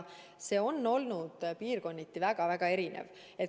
See on olnud piirkonniti väga-väga erinev.